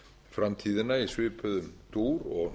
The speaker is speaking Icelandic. framtíðina í svipuðum dýr og